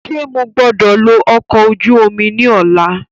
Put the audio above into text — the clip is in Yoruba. Ṣe mo gbọdọ lo ọkọ oju omi ni ọla?